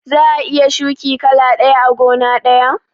Za'a iya shuki kala ɗaya a gona ɗaya?